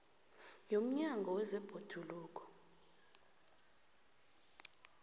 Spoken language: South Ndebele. yomnyango weendaba zebhoduluko